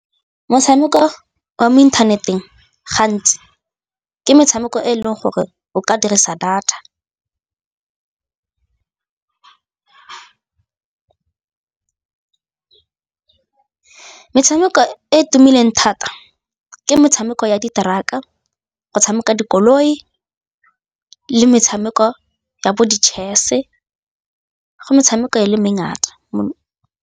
Motshameko wa mo inthaneteng gantsi ke metshameko e e leng gore o ka dirisa data metshameko e e tumileng thata ke metshameko ya diteraka, go tshameka dikoloi le metshameko ya bo di-chess go metshameko e le mengata.